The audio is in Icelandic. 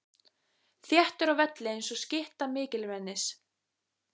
Þéttur á velli einsog stytta mikilmennis.